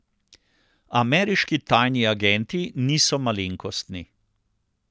Ameriški tajni agenti niso malenkostni.